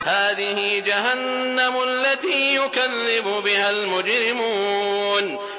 هَٰذِهِ جَهَنَّمُ الَّتِي يُكَذِّبُ بِهَا الْمُجْرِمُونَ